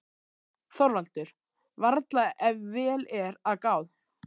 ÞORVALDUR: Varla, ef vel er að gáð.